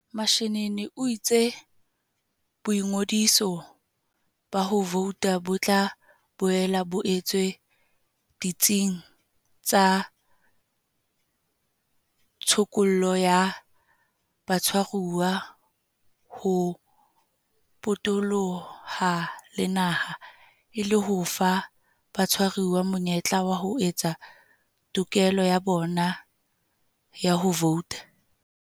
Mashinini o itse boingodiso ba ho vouta bo tla boela bo etswa ditsing tsa tshokollo ya batshwaruwa ho potoloha le naha, e le ho fa batshwaruwa monyetla wa ho etsa tokelo ya bona ya ho vouta.